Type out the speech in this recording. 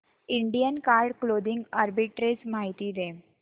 Indian card clothing arbitrage माहिती दे